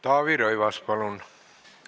Taavi Rõivas, palun!